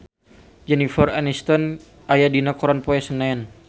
Jennifer Aniston aya dina koran poe Senen